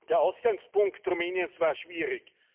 Der Ausgangspunkt Rumäniens war schwierig.